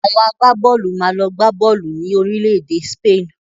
Awọn àgbábọ́ọ̀lù máa lọ gbá bọ́ọ̀lù ni Orílẹ̀-èdè Spain